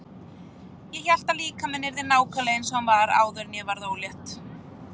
Ég hélt að líkaminn yrði nákvæmlega eins og hann var áður en ég varð ólétt.